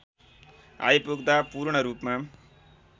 आइपुग्दा पूर्णरूपमा